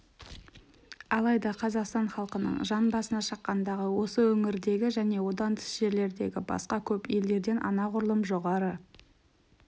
алайда қазақстан халқының жан басына шаққандағы осы өңірдегі және одан тыс жерлердегі басқа көп елдерден анағұрлым жоғары